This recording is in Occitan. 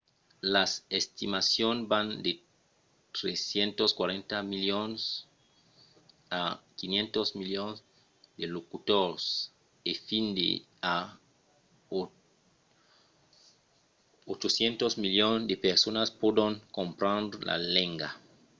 las estimacions van de 340 milions a 500 milions de locutors e fins a 800 milions de personas pòdon comprendre la lenga